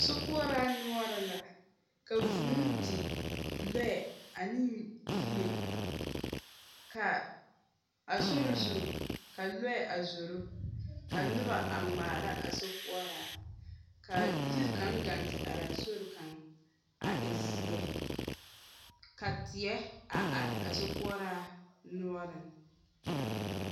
Sokoɔraa noɔreŋ la ka vūū di lɔɛ ane yie, ka a sori zu ka lɔɛ a zoro, ka noba a ŋmaara a sokoɔraa, ka yiri kaŋa gaŋ te araa sori kaŋa a e zeɛ, ka teɛ a are a sokoɔraa noɔreŋ.